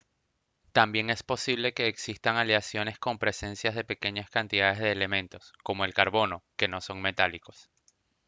también es posible que existan aleaciones con presencia de pequeñas cantidades de elementos como el carbono que no son metálicos